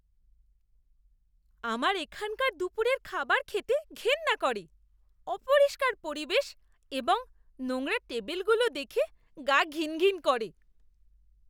আমার এখানকার দুপুরের খাবার খেতে ঘেন্না করে। অপরিষ্কার পরিবেশ এবং নোংরা টেবিলগুলো দেখে গা ঘিনঘিন করে।